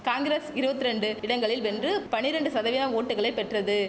காங்கிரஸ் இருவத்திரெண்டு இடங்களில் வென்று பனிரெண்டு சதவிய ஓட்டுக்களை பெற்றது